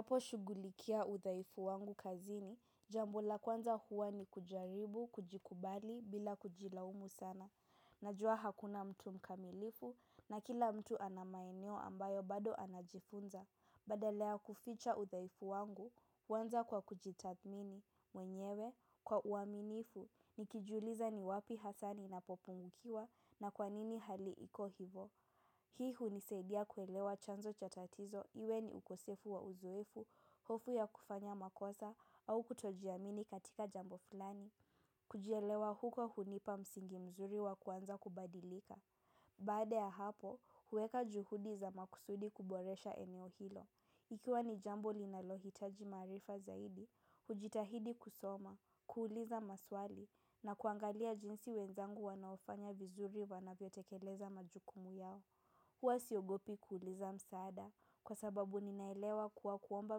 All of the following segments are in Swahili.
Apo shugulikia uthaifu wangu kazini, jambo la kwanza huwa ni kujaribu, kujikubali, bila kujilaumu sana. Najua hakuna mtu mkamilifu na kila mtu ana maeneo ambayo bado anajifunza. Badala ya kuficha uthaifu wangu, huanza kwa kujitathmini, mwenyewe, kwa uaminifu, nikijuliza ni wapi hasa nina popungukiwa na kwanini haliiko hivo. Hii hunisaidia kuelewa chanzo cha tatizo iwe ni ukosefu wa uzoefu, hofu ya kufanya makosa au kutojiamini katika jambo fulani. Kujielewa huko, hunipa msingi mzuri wa kuanza kubadilika. Baade ya hapo, huweka juhudi za maksudi, kuboresha eneo hilo. Ikiwa ni jambo linalohitaji maarifa zaidi, hujitahidi kusoma, kuuliza maswali na kuangalia jinsi wenzangu wanaofanya vizuri wanavyo tekeleza majukumu yao. Huwa siogopi kuuliza msaada, kwa sababu ninaelewa kuwa kuomba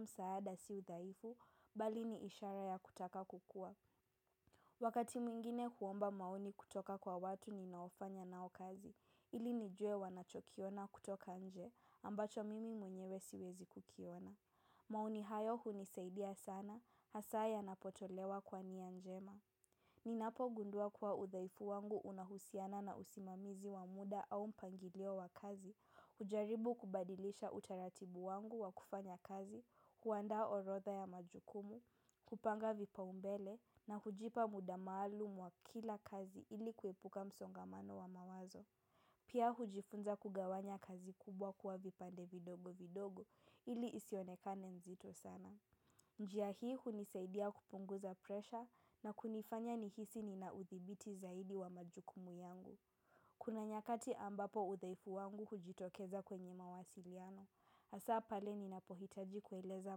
msaada si uthaifu, bali ni ishara ya kutaka kukua. Wakati mwingine, huomba maoni kutoka kwa watu ninaofanya nao kazi, ili nijue wanachokiona kutoka nje, ambacho mimi mwenyewe siwezi kukiona. Maoni hayo hunisaidia sana, hasa yanapotolewa kwa nia njema. Ni napo gundua kuwa uthaifu wangu unahusiana na usimamizi wamuda au mpangilio wa kazi, hujaribu kubadilisha utaratibu wangu wa kufanya kazi, huandaa orotha ya majukumu, hupanga vipa umbele na hujipa muda maalum wa kila kazi ili kuepuka msongamano wa mawazo. Pia, hujifunza kugawanya kazi kubwa kuwa vipande vidogo vidogo. Ili isionekane nzito sana. Njia hii hunisaidia kupunguza presha na kunifanya nihisi ninauthibiti zaidi wa majukumu yangu. Kuna nyakati ambapo uthaifu wangu hujitokeza kwenye mawasiliano. Hasaa pale ninapohitaji kueleza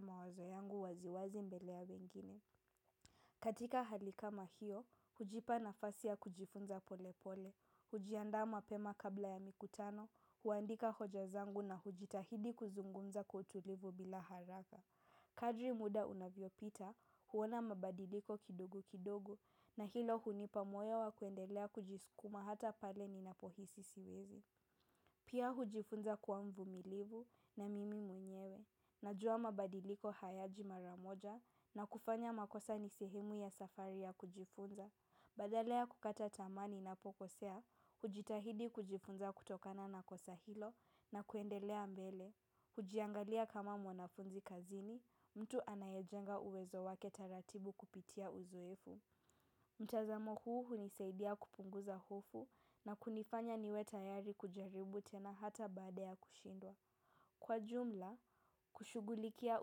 mawazo yangu waziwazi mbele ya wengine. Katika hali kama hiyo, hujipa nafasi ya kujifunza pole pole. Ujiandaa mapema kabla ya mikutano, huandika hoja zangu na hujitahidi kuzungumza kwa utulivu bila haraka. Kadri muda unavyo pita, huwona mabadiliko kidogo kidogo na hilo hunipa moyo wa kuendelea kujiskuma hata pale ni napohisi siwezi. Pia, hujifunza kua mvumilivu, na mimi mwenyewe. Najua mabadiliko hayaji maramoja na kufanya makosa ni sehemu ya safari ya kujifunza. Badala ya kukata tamaa nina pokosea, hujitahidi kujifunza kutokana na kosa hilo na kuendelea mbele. Hujiangalia kama mwanafunzi kazini, mtu anayejenga uwezo wake taratibu kupitia uzoefu. Mtazamo huu hunisaidia kupunguza hofu na kunifanya niwe tayari kujaribu tena hata badaa ya kushindwa. Kwa jumla, kushugulikia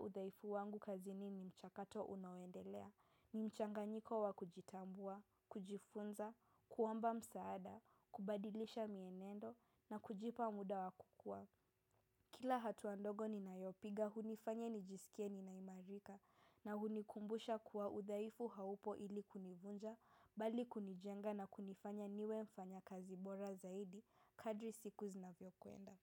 udhaifu wangu kazini ni mchakato unaoendelea. Ni mchanga nyiko wa kujitambua, kujifunza, kuomba msaada, kubadilisha mienendo na kujipa muda wa kukua. Kila hatua ndogo ni nayopiga, hunifanya nijisikie ninaimarika na hunikumbusha kuwa udhaifu haupo ili kunivunja, bali kunijenga na kunifanya niwe mfanya kazi bora zaidi, kadri siku zinavyo kuenda.